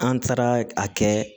An taara a kɛ